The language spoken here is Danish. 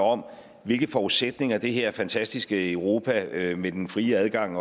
om hvilke forudsætninger det her fantastiske europa med den frie adgang